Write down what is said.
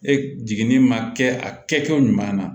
E jiginni ma kɛ a kɛcogo ɲuman na